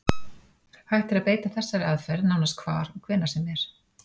Hægt er að beita þessari aðferð nánast hvar og hvenær sem er.